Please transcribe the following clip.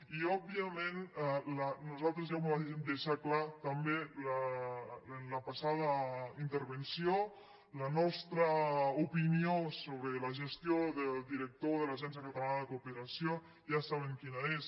i òbviament nosaltres ja ho vàrem deixar clar també en la passada intervenció la nostra opinió sobre la gestió del director de l’agència catalana de cooperació ja saben quina és